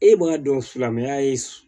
E b'a dɔn silamɛya ye